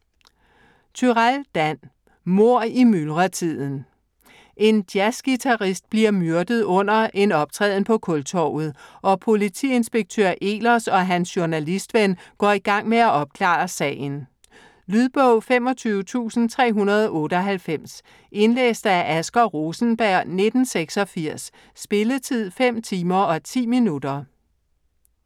Turèll, Dan: Mord i myldretiden En jazzguitarist bliver myrdet under en optræden på Kultorvet, og politiinspektør Ehlers og hans journalistven går i gang med at opklare sagen. Lydbog 25398 Indlæst af Asger Rosenberg, 1986. Spilletid: 5 timer, 10 minutter.